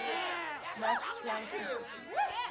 max planck institute